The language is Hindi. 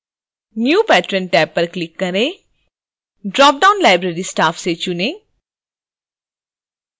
new patron टैब पर क्लिक करें ड्रॉपडाउन library staff से चुनें